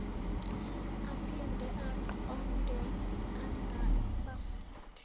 aphinde aqondwe ngabafundi